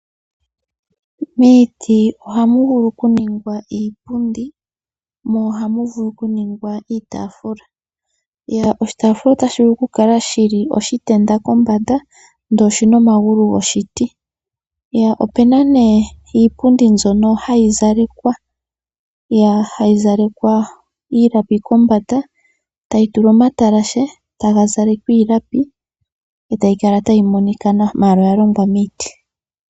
Miiti ohamu vulu okuningwa iipundi mo ohamu vulu okuningwa oshitaafula. Oshitaafula otashi vulu okukala oshitenda kombanda, ndele oshi na omagulu goshiti. Opu na nee iitaafula mbyono hayi zalekwa hayi zalekwa iilapi kombanda, tayi tulwa omatalashe taga zalekwa iilapi e tayi kala tayi monika nawa, ashike oya longwa miiti.